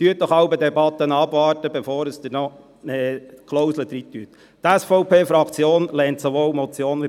Warten Sie doch jeweils die Debatten ab, um dann zu entscheiden, welche Klauseln Sie aufnehmen.